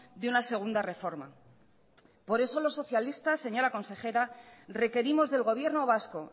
de una segunda reforma por eso los socialistas señora consejera requerimos del gobierno vasco